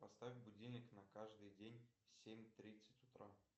поставь будильник на каждый день семь тридцать утра